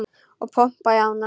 Og pompa í ána?